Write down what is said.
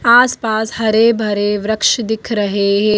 आसपास हरे भरे वृक्ष दिख रहे है।